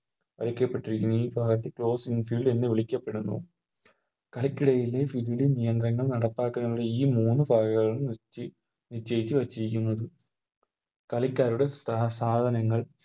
കളിക്കപ്പെട്ടിരിക്കുന്നു ഈ ഭാഗത്തെ Closing field എന്ന് വിളിക്കപ്പെടുന്നു കളിക്കിടയിലെ Fielding നിയന്ത്രണങ്ങൾ നടപ്പാക്കുന്നതിനുള്ള ഈ മൂന്ന് കാര്യങ്ങൾ നിച്ചി നിശ്ചയിച്ച് വച്ചിരിക്കുന്നത് കളിക്കാരുടെ സ് സാധനങ്ങൾ